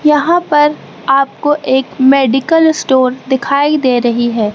यहां पर आपको एक मेडिकल स्टोर दिखाई दे रही है।